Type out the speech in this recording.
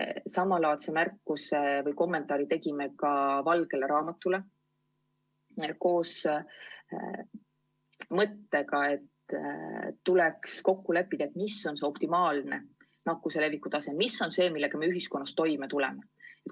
Samalaadse märkuse või kommentaari tegime ka valgele raamatule, käies välja mõtte, et tuleks kokku leppida, mis on see nakkuse leviku tase, millega me ühiskonnas toime tuleme.